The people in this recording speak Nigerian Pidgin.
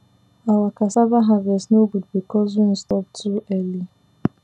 our cassava harvest no good because rain stop too early